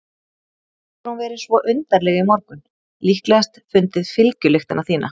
Svo hefur hún verið svo undarleg í morgun, líklegast fundið fylgjulyktina þína.